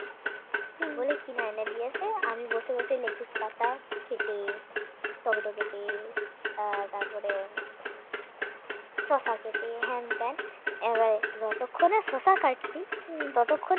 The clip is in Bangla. বলে কিনে এনে দিয়েছে আমি বসে বসে লেটুস পাতা খেতে টমেটো কেটে তারপরে শসা কেটে হেনতেন এবারে যতক্ষণে শসা কাটছি ততক্ষণে